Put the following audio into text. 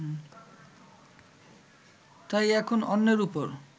তাই এখন অন্যের উপর